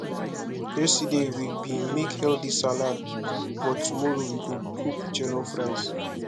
yesterday we bin make healthy salad but tomorrow we go cook jollof rice